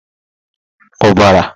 ubara